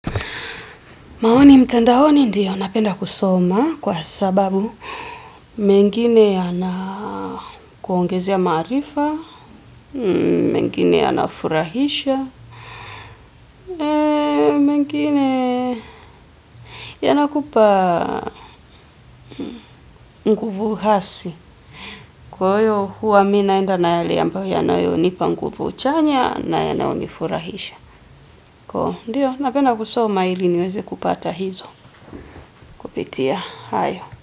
Maoni mtandaoni ndiyo napenda kusoma kwa sababu mengine yanakuongezea maarifa, mengine yanafurahisha, mengine yanakupa nguvu hasi kwa hiyo huwa mimi naenda na yale ambayo yanayonipa nguvu chanya na yananifurahisha ndiyo napenda kusoma ili niweze kupata hizo kupitia hayo.